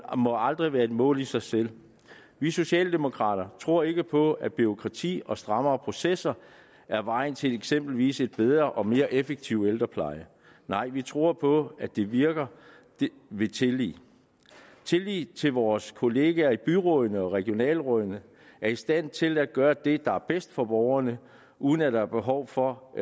må aldrig være et mål i sig selv vi socialdemokrater tror ikke på at bureaukrati og strammere processer er vejen til eksempelvis en bedre og mere effektiv ældrepleje nej vi tror på at det virker ved tillid tillid til at vores kollegaer i byrådene og regionsrådene er i stand til at gøre det der er bedst for borgerne uden at der er behov for